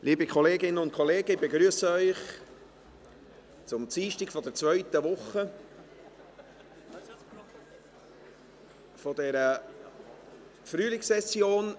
Liebe Kolleginnen und Kollegen, ich begrüsse Sie zum Dienstag der zweiten Woche dieser Frühlingssession.